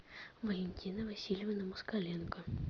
валентина васильевна москаленко